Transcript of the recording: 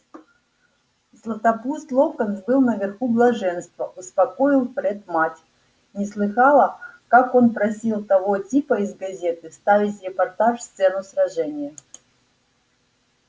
златопуст локонс был наверху блаженства успокоил фред мать не слыхала как он просил того типа из газеты вставить в репортаж сцену сражения